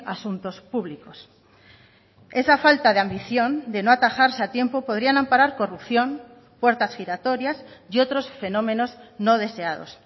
asuntos públicos esa falta de ambición de no atajarse a tiempo podrían amparar corrupción puertas giratorias y otros fenómenos no deseados